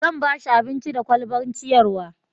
zan bashi abinci da kwalban ciyarwa